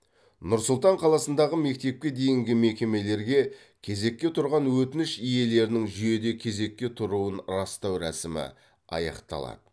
нұр сұлтан қаласындағы мектепке дейінгі мекемелерге кезекке тұрған өтініш иелерінің жүйеде кезекке тұруын растау рәсімі аяқталады